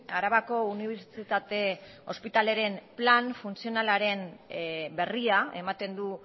arabako unibertsitate ospitalearen plan funtzional berria ematen du